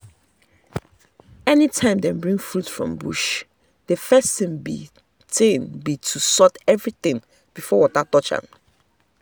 any time dem bring fruit from bush the first thing be thing be to sort everything before water touch am.